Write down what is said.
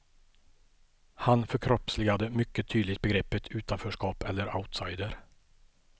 Han förkroppsligade mycket tydligt begreppet utanförskap eller outsider.